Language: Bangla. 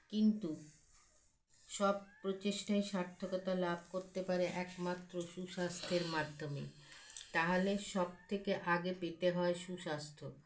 কিন্তু, সব প্রচেষ্ঠাই সার্থকতা লাভ করতে পারে একমাত্র সুস্বাস্থ্যের মাধ্যমে তাহলে সবথেকে আগে পেতে হয় সুস্বাস্থ্য